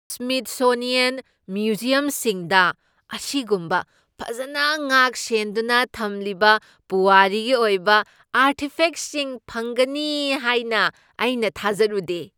Smithsonian ꯃ꯭ꯌꯨꯖꯤꯌꯝꯁꯤꯡꯗ ꯑꯁꯤꯒꯨꯝꯕ ꯐꯖꯅ ꯉꯥꯛꯁꯦꯟꯗꯨꯅ ꯊꯝꯂꯤꯕ ꯄꯨꯋꯥꯔꯤꯒꯤ ꯑꯣꯏꯕ ꯑꯔꯇꯤꯐꯦꯛꯁꯤꯡ ꯐꯪꯒꯅꯤ ꯍꯥꯏꯅ ꯑꯩꯅ ꯊꯥꯖꯔꯨꯗꯦ꯫